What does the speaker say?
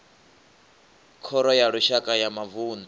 khoro ya lushaka ya mavunḓu